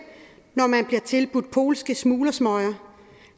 når man bliver tilbudt polske smuglersmøger